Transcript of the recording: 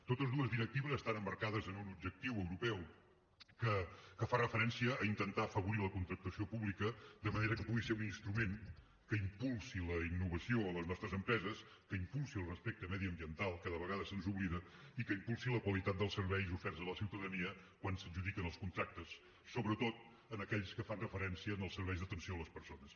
totes dues directives estan emmarcades en un objectiu europeu que fa referència a intentar afavorir la contractació pública de manera que pugui ser un instrument que impulsi la innovació a les nostres empreses que impulsi el respecte mediambiental que de vegades se’ns oblida i que impulsi la qualitat dels serveis oferts a la ciutadania quan s’adjudiquen els contractes sobretot en aquells que fan referència als serveis d’atenció a les persones